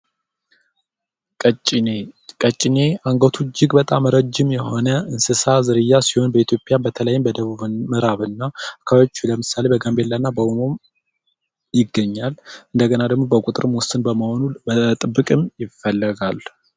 ቀጭኔ ቀጭኔ አንገቱ እጅግ በጣም ረዥም የሆነ እንስሳ ዝርያ ሲሆን፤ በኢትዮጵያ በተለይም በደቡብ ምዕራብ እና አካባቢዎች ለምሳሌ በጋምቤላ እና በኦሞ ይገኛል። እንደገና ደግሞ በቁጥር ውስን በመሆኑ በጥብቅም ይፈለጋል።